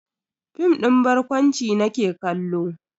Fim din barkwanci nake kallo.